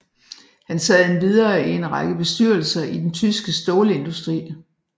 Han sad endvidere i en række bestyrelser i den tyske stålindustri